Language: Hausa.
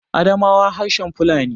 Adamawa harshen Fulani